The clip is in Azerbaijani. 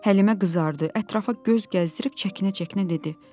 Həlimə qızardı, ətrafa göz gəzdirib çəkinə-çəkinə dedi: